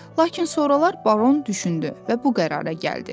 Lakin sonralar Baron düşündü və bu qərara gəldi: